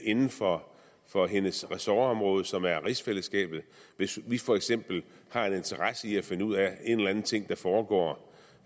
inden for for hendes ressortområde som er rigsfællesskabet hvis vi for eksempel har en interesse i at finde ud af en eller anden ting der foregår